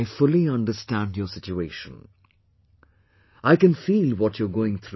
I fully understand your situation; I can feel what you are going through